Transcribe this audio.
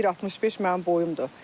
1.65 mənim boyumdur.